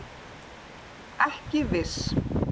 Ekki viss